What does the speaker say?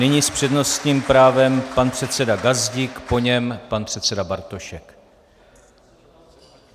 Nyní s přednostním právem pan předseda Gazdík, po něm pan předseda Bartošek.